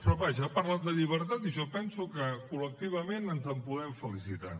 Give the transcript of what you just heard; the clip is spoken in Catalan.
però vaja ha parlat de llibertat i jo penso que col·lectivament ens en podem felicitar